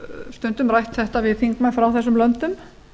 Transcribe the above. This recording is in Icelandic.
stundum rætt þetta við þingmenn frá þessum löndum